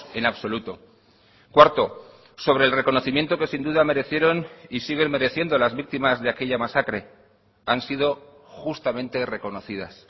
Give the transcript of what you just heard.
en absoluto cuarto sobre el reconocimiento que sin duda merecieron y siguen mereciendo las víctimas de aquella masacre han sido justamente reconocidas